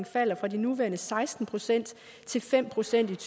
falder fra de nuværende seksten procent til fem procent af